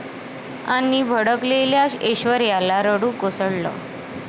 ...आणि भडकलेल्या ऐश्वर्याला रडू कोसळलं